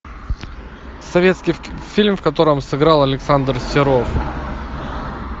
советский фильм в котором сыграл александр серов